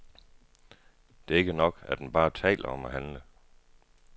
Det er ikke nok, at man bare taler om at handle.